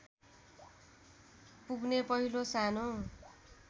पुग्ने पहिलो सानो